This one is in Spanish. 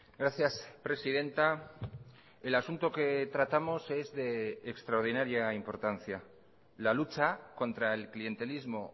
gracias presidenta el asunto que tratamos es de extraordinaria importancia la lucha contra el clientelismo